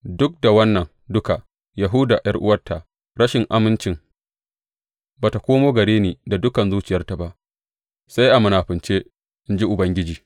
Duk da wannan duka, Yahuda ’yar’uwarta rashin amincin ba tă komo gare ni da dukan zuciyarta ba, sai a munafunce, in ji Ubangiji.